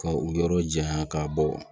Ka u yɔrɔ janya ka bɔ